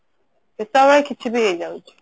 କେତବଳେ କିଛି ବି ହେଇଯାଉଛି